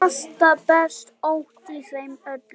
Hjartað berst ótt í þeim öllum.